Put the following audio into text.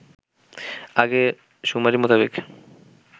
আগের শুমারি মোতাবেক